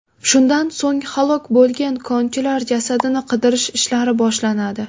Shundan so‘ng halok bo‘lgan konchilar jasadini qidirish ishlari boshlanadi.